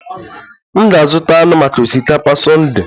M ga-azụta anụ maka osikapa Sunday